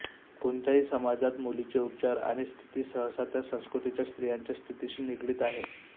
कोणत्याही समाजात मुलींचे उपचार आणि स्थिती सहसा त्या संस्कृतीच्या स्त्रियांच्या स्थितीशी निगडीत आहे